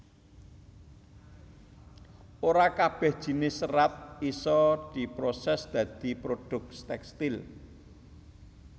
Ora kabèh jinis serat isa diprosès dadi produk tèkstil